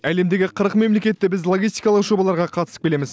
әлемдегі қырық мемлекетте біз логистикалық жобаларға қатысып келеміз